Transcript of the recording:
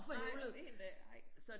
Nej 1 dag ej